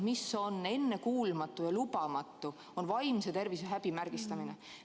Mis on ennekuulmatu ja lubamatu, on vaimse tervise häbimärgistamine.